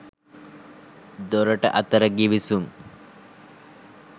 දෙරට අතර ගිවිසුම්